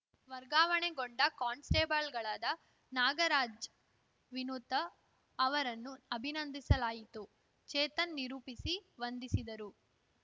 ವರ್ಗಾವಣೆಗೊಂಡ ಕಾನ್‌ಸ್ಟೇಬಲ್‌ಗಳಾದ ನಾಗರಾಜ್‌ ವಿನುತ ಅವರನ್ನು ಅಭಿನಂದಿಸಲಾಯಿತು ಚೇತನ್‌ ನಿರೂಪಿಸಿ ವಂದಿಸಿದರು